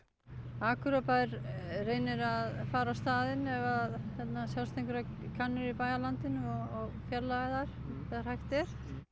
Akureyrarbær reynir að fara á staðinn ef að sjást einhverjar kanínur í bæjarlandinu og fjarlægja þær þegar hægt er